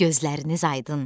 Gözləriniz aydın!